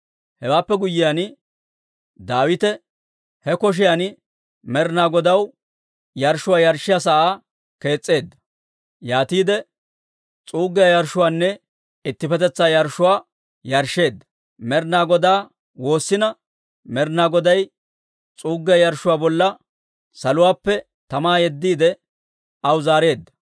Hewaappe guyyiyaan, Daawite he koshiyan Med'inaa Godaw yarshshuwaa yarshshiyaa sa'aa kees's'eedda. Yaatiide s'uuggiyaa yarshshuwaanne ittippetetsaa yarshshuwaa yarshsheedda; Med'inaa Godaa woossina, Med'inaa Goday s'uuggiyaa yarshshuwaa bolla saluwaappe tamaa yeddiide, aw zaareedda.